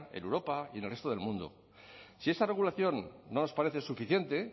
en europa y en el resto del mundo si esa regulación no nos parece suficiente